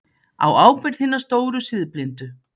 Á ábyrgð hinna stóru siðblindu.